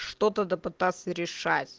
что то да пытаться решать